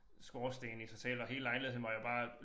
Skorsten i sig selv og hele lejligheden var jo bare